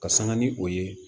Ka sanga ni o ye